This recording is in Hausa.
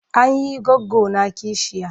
An yi goggona kishiya.